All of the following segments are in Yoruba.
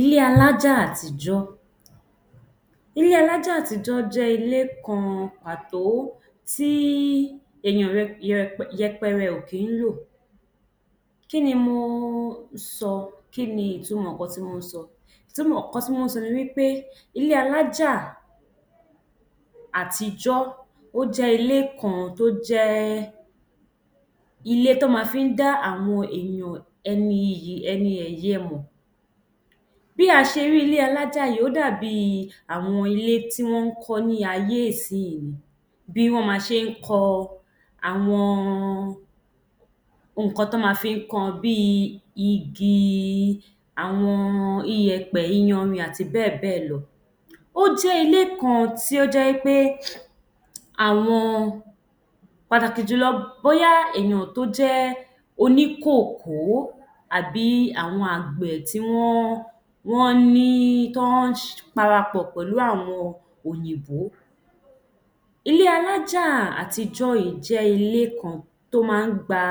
Ilé alájà àtijọ́. Ilé alájà àtijọ́ jẹ́ ilé kan pàtó tí èèyàn yẹpẹrẹ o kì ń lò. Kí ni ìtumọ̀ nǹkan tí mò ń sọ? Ìtumọ̀ nǹkan tí mò ń sọ ni wí pé, Ilé alájà àtijọ́ ó jẹ́ ilé kan tọ́ ma fi ń dá àwọn èèyàn, ẹni iyì, ẹni ẹ̀yẹ mọ̀. Bí a ṣe rí ilé alájà yìí ó dà bí àwọn ilé tí wọ́n ń kọ́ ni aye ìsìyí ni. Bí wọ́n ma ṣe ń kọ, àwọn nǹkan tí wọ́n ma fi ń kọ bí i igi àwọn iyẹ̀pẹ̀, iyọrìn àti bẹ́ẹ̀ bẹ́ẹ̀ lọ. Ó jẹ́ ilé kan tí ó jẹ́ wí pé àwọn pàtàkì jù lọ bóyá èèyàn tó jẹ́ òníkòkó, àbí àwọn àgbẹ̀ tí wọ́n parapọ̀ pẹ̀lú àwọn òyìnbó. Ilé alájà àtijọ́ yìí jẹ́ ilé kan tó ma ń gba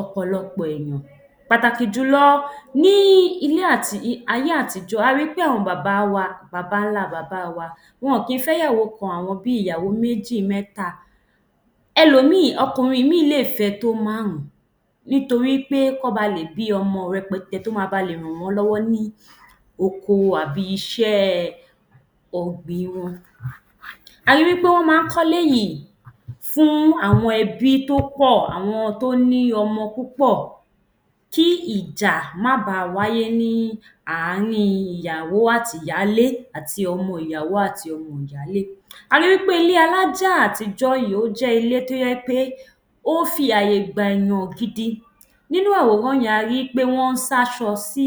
ọ̀pọ̀lọpọ̀ èèyàn. Pàtàkì jù lọ, ní ayé-àtijọ́, a rí pé àwọn bàba wa, bàba ńlá bàba wa, wọ́n ò kí fẹ́ ìyàwó kan àwọn bí ìyàwó méjì, mẹ́ta. Ọkùnrin ìmí ì lè fẹ́ tó márùn-ún nítorí pé kọ́ ba lè bí ọmọ rẹpẹtẹ kó ma ba lè ràn wọ́n lọ́wọ́ ní oko àbí iṣẹ́ ọ̀gbìn wọn. A ri wí pé wọ́n ma ń kólé yìí fún àwọn ẹbí tó pọ̀, àwọn tó ní ọmọ púpọ̀, kí ìjà má ba wáyé ní àárín ìyàwó àti ìyálé, àti ọmọ-ìyàwó àti ọmọ-ìyálé. A ri wí pé Ilé alájà àtijọ́ yìí ó jẹ́ ilé tó jẹ́ pé ó fi àyè gba èèyàn gidi. Nínú àwòrán yẹn, a ri wí pé wọ́n ń sáṣọ sí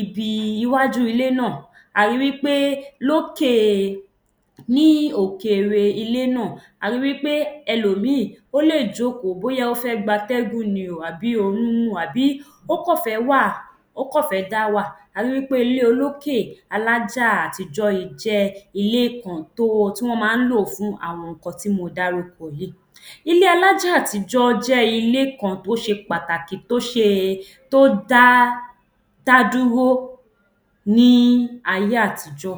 ibi iwájú ilé náà. A ri wí pé ní òkèèrè ilé náà, a ri wí pé ẹlòmíì ó lè jókòó bóyá ó fẹ́ gba atẹ́guǹ ni o, àbí oru ń mú, àbí ó kọ̀ fẹ́ dá wà. A ri wí pé Ilé olókè alájà àtijọ́ yìí jẹ́ ilé kan tí wọ́n ma ń lò fún àwọn nǹkan tí mo dárúkọ yìí. Ilé alájà àtijọ́ jẹ́ ilé kan tó ṣe pàtàkì tó dádúró ní ayé-àtijọ́.